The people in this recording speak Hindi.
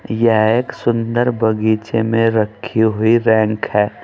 यह एक सुंदर बगीचे में रखी हुई रैंक है।